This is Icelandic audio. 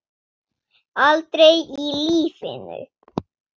Aldrei í lífinu!